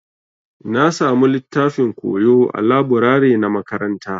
Na samu littafin koyo ã laburare na makaranta.